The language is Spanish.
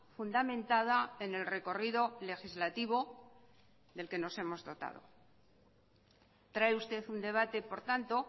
fundamentada en el recorrido legislativo del que nos hemos dotado trae usted un debate por tanto